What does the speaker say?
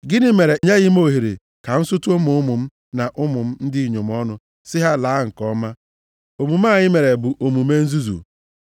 Gịnị mere i nyeghị m ohere ka m sutu ụmụ ụmụ m na ụmụ m ndị inyom ọnụ sị ha laa nke ọma? Omume a i mere bụ omume nzuzu.